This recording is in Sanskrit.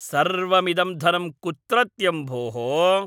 सर्वमिदं धनं कुत्रत्यं भोः?